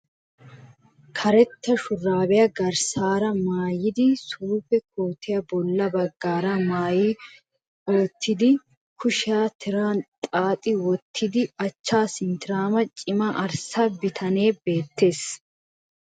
Karetta shuraabiya garssaara maayidi suufe kootiya bolla baggaara maayi uttidinne kushiya tiran xaaxi wottida achchaa sinttiraama cima arssa bitanee beettees